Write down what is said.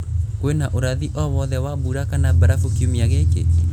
kwīna ūrathi o wothe wa mbura kana barafu kiumia gīkī